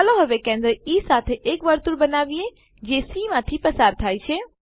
ચાલો હવે કેન્દ્ર ઇ સાથે એક વર્તુળ બનાવીએ જે સી માંથી પસાર થાય છે